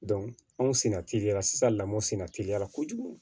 anw senna teliya la sisan lamɔ sinna teliya la kojugu